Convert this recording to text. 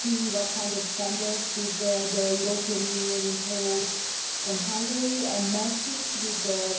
see what kind of standards the European Union imposed on Hungary and compare it with the Greek situation.